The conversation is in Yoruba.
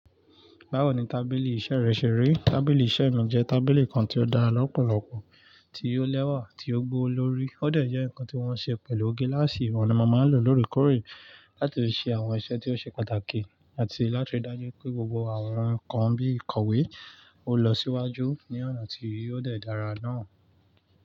Báwo ni tábìlì iṣẹ́ rẹ ṣe rí? Tábìlì iṣẹ́ mi jẹ́ tábìlì kan tí ó dá lọ́pọ̀lọ́pọ̀, tí ó lẹ́wà, tí ó gbó lórí. Ó dẹ̀ jẹ́ nǹkan tí wọ́n ṣe pẹ̀lú gilasì ọ́un ni máa ń lò lóòrèkóòrè láti ṣe àwọn iṣẹ́ tí ó ṣe pàtàkì àti láti dájú pé gbogbo àwọn nǹkan bí ìkọ̀wé ó lọ síwájú ní ọ̀nà tí ó dẹ̀ dára náà.